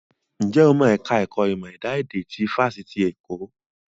Ǹjẹ́ o mọ ẹ̀ka ẹ̀kọ́ ìmọ̀ ẹ̀dá èdè ní Fáṣitì Èkó?